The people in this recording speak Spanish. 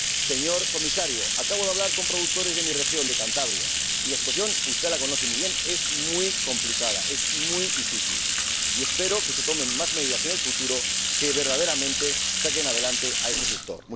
Señor Comisario, acabo de hablar con productores de mi región, de Cantabria, y la situación —usted la conoce muy bien— es muy complicada, muy difícil, y espero que se tomen más medidas en el futuro que verdaderamente saquen adelante a este sector.